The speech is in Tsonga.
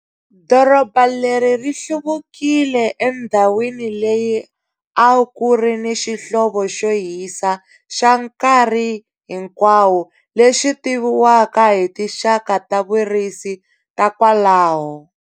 Doroba leri ri hluvukile endhawini leyi a ku ri ni xihlovo xo hisa xa nkarhi hinkwawo lexi tiviwaka hi tinxaka ta vurisi ta kwalaho.